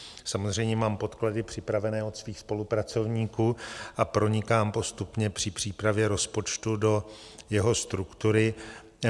Samozřejmě mám podklady připravené od svých spolupracovníků a pronikám postupně při přípravě rozpočtu do jeho struktury.